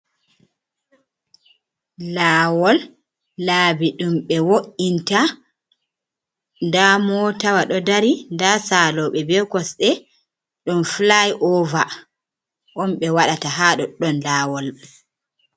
Lawol, laabi dum be wo’inta da motawa do dari da salobe be kosde , dum fly over on be wadata ha doɗdon lawol mai.